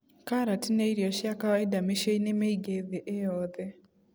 Karati nĩ irio cia kawaida mĩciinĩ mĩingĩ thĩ ĩyothe.